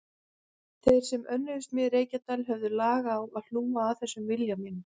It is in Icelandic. Þeir sem önnuðust mig í Reykjadal höfðu lag á að hlúa að þessum vilja mínum.